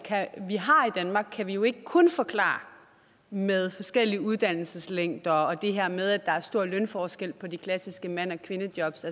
vi har i danmark kan vi jo ikke kun forklare med forskellige uddannelseslængder og det her med at der er store lønforskelle på de klassiske mande og kvindejobs